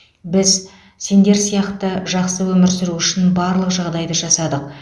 біз сендер сияқты жақсы өмір сүру үшін барлық жағдайды жасадық